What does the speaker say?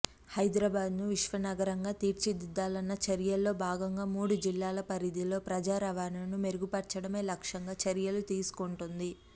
హైదరాబాద్ను విశ్వనగరంగా తీర్చిదిద్దాలన్న చర్యల్లో భాగంగా మూడు జిల్లాల పరిధిలో ప్రజారవాణాను మెరుగుపర్చడమే లక్ష్యంగా చర్యలు తీసుకుంటోంది